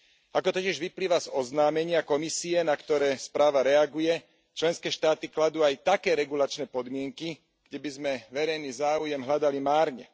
Ako totiž vyplýva z oznámenia Komisie, na ktoré správa reaguje, členské štáty kladú aj také regulačné podmienky, kde by sme verejný záujem hľadali márne.